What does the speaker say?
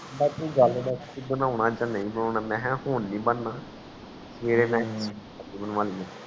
ਬਸ ਤੂੰ ਗਲ ਦਾਸ ਤੂੰ ਬਣੌਣਾ ਆ ਬਣੌਣਾ ਮੈਂ ਕਿਹਾ ਹੁਣ ਨੀ ਬਣਨਾ